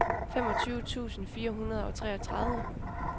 femogtyve tusind fire hundrede og treogtredive